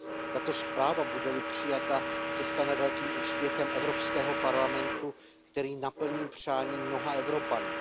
Tato zpráva, bude li přijata, se stane velkým úspěchem Evropského parlamentu, který naplní přání mnoha Evropanů.